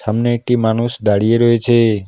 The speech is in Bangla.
সামনে একটি মানুষ দাঁড়িয়ে রয়েছে।